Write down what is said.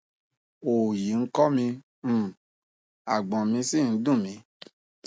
òòyì ń kọ mi um àgbọn mi sì ń ń dùn mí